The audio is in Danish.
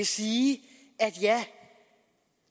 sige at ja